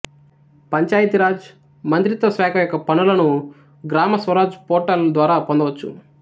పంచాయతీ రాజ్ మంత్రిత్వ శాఖ యొక్క పనులను గ్రామ స్వరాజ్ పోర్టల్ ద్వారా పొందవచ్చు